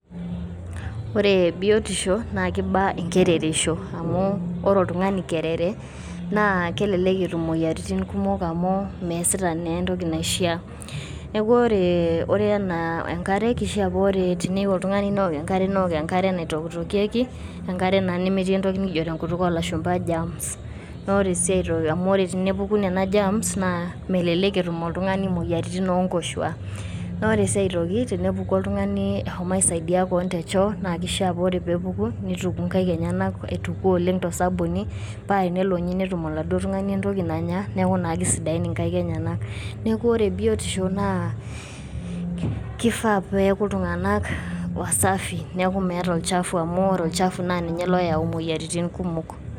Ore biotisho naa keiba enkerereisho, amu ore oltung`ani kerere naa kelelek etum imoyiaritin kumok amu measita naa entoki naishia. Neaku ore enaa enkare, keishia paa ore teneyieu oltung`ani neok enkare naitokitokieki, enkare naa nemetii entoki nikijo tenkutuk oo lashumpa germs. Naa ore sii aito, ore tenepuku nena germs melelek etum oltung`ani moyiaritin oo nkoshuak. Naa ore sii aitoki tenepuku oltung`ani eshomo aisaidia kewon te choo naa kishia paa ore pee epuku neituku nkaik enyenak aituku oleng to sabuni paa tenelo ninye netum oladuo tung`ani entoki nanya niaku naa keisidin inkaik enyenak. Niaku ore biotisho na kifaa pee aeku iltung`anak wasafi niaku meeta olchafu amu ore olchafu naa ninye loyau imoyiaritin kumok.